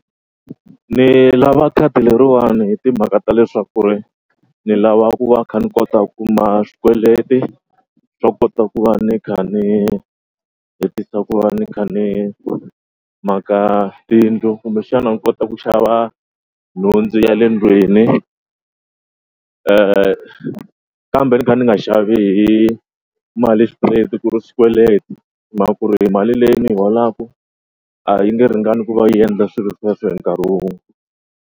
Ni lava khadi leriwani hi timhaka ta leswaku ri ni lava ku va kha ni kota kuma swikweleti swa kota ku va kha ni hetisa ku va ni kha ni maka tiyindlu kumbexana ni kota ku xava nhundzu ya le ndlwini kambe ni kha ni nga xavi mali straight ku ri swikweleti hi mhaka ku ri mali leyi ni yi holaka a yi nge ringani ku va yi endla swilo sweswo hi nkarhi wun'we.